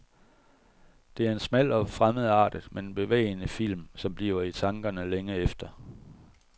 Det er en smal og fremmedartet, men bevægende film, som bliver i tankerne længe efter.